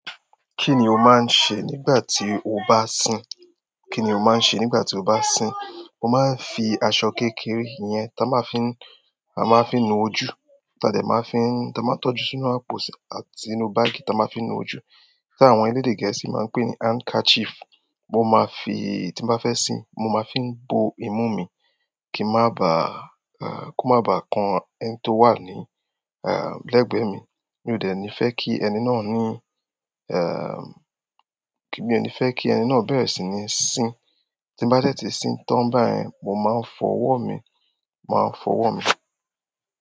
Kí ni o máa ń ṣe nígbà tí o bá ń sìn? Kí ni o máa ń ṣe nígbà tí o bá ń sìn? Mo máa ń fi aṣọ kékeré yẹn táa máa fi ń, a máa fi ń nu ojú, tàbí ẹ máa fi ń, táa máa ń tọ́jú sínú áposì àti ínú báàgì táa máa fi ń nu ojú, tí àwọn elédè gẹ̀ẹ́sì máa ń pè ní handkerchief. Mo ma fi, tin ba fe sin mo ma fi n bo imun mi ko ma ba kan ẹni to wa legbe mi mi ò dẹ ni fẹ́ kí ẹni náà ní, mi ò ní fẹ́ kí ẹni náà bẹ̀rẹ̀ sí ní sìn. Tí n bá dè ti sìn tán bá yẹ̀, mo máa ń fọwọ́ mi, màá fọwọ́ mi.